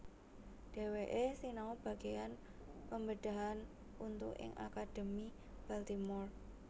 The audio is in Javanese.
Dheweke sinau bageyan pembedahan untu ing Akademi Baltimore